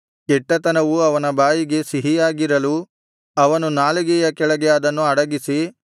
ಕೆಟ್ಟತನವು ಅವನ ಬಾಯಿಗೆ ಸಿಹಿಯಾಗಿರಲು ಅವನು ನಾಲಿಗೆಯ ಕೆಳಗೆ ಅದನ್ನು ಅಡಗಿಸಿ